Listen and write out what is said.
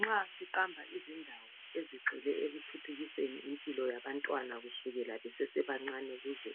Nxa siqamba izindawo ezigxile ekuthuthukiseni impilo yabantwana kusukela besesebancane, baze